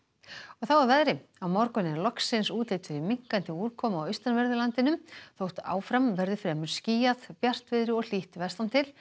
og þá að veðri á morgun er loksins útlit fyrir minnkandi úrkomu á austanverðu landinu þótt áfram verði fremur skýjað bjartviðri og hlýtt vestan til